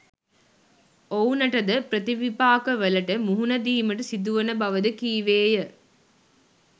ඔවුනට ද ප්‍රතිවිපාකවලට මුහුණ දීමට සිදුවන බව ද කීවේය.